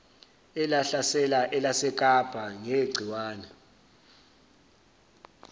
elahlasela elasekapa negciwane